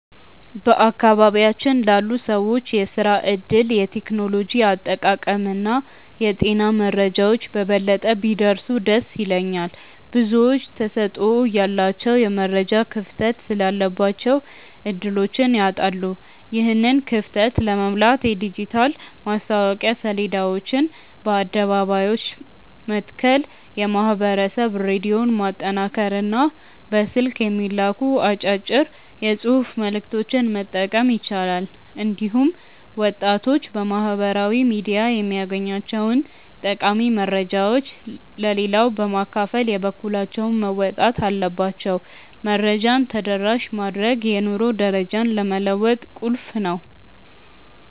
በአካባቢያችን ላሉ ሰዎች የሥራ ዕድሎች፣ የቴክኖሎጂ አጠቃቀምና የጤና መረጃዎች በበለጠ ቢደርሱ ደስ ይለኛል። ብዙዎች ተሰጥኦ እያላቸው የመረጃ ክፍተት ስላለባቸው ዕድሎችን ያጣሉ። ይህንን ክፍተት ለመሙላት የዲጂታል ማስታወቂያ ሰሌዳዎችን በአደባባዮች መትከል፣ የማኅበረሰብ ሬዲዮን ማጠናከርና በስልክ የሚላኩ አጫጭር የጽሑፍ መልዕክቶችን መጠቀም ይቻላል። እንዲሁም ወጣቶች በማኅበራዊ ሚዲያ የሚያገኟቸውን ጠቃሚ መረጃዎች ለሌላው በማካፈል የበኩላቸውን መወጣት አለባቸው። መረጃን ተደራሽ ማድረግ የኑሮ ደረጃን ለመለወጥ ቁልፍ ነው።